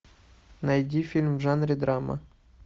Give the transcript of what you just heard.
найди фильм в жанре драма